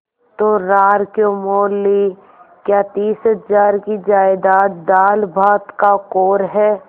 तो रार क्यों मोल ली क्या तीस हजार की जायदाद दालभात का कौर है